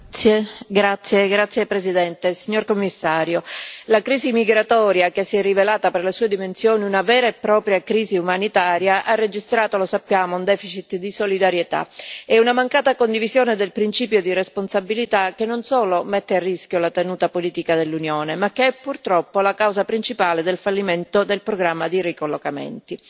Signora Presidente, onorevoli colleghi, signor Commissario, la crisi migratoria che si è rivelata per le sue dimensioni una vera e propria crisi umanitaria ha registrato, lo sappiamo, un deficit di solidarietà e una mancata condivisione del principio di responsabilità, che non solo mette a rischio la tenuta politica dell'Unione ma che, purtroppo, è la causa principale del fallimento del programma di ricollocamenti.